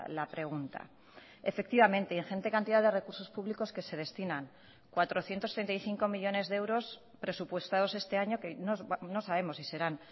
la pregunta efectivamente ingente cantidad de recursos públicos que se destinan cuatrocientos treinta y cinco millónes de euros presupuestados este año que no sabemos si serán